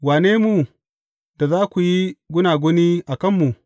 Wane mu, da za ku yi gunaguni a kanmu?